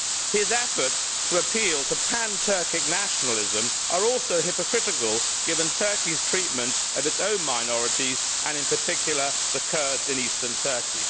His efforts to appeal to pan Turkic nationalism are also hypocritical, given Turkey's treatment of its own minorities and in particular the Kurds in eastern Turkey.